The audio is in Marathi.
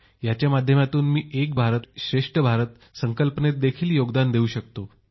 याच्या माध्यमातून मी एक भारतश्रेष्ठ भारत संकल्पनेत देखील योगदान देऊ शकतो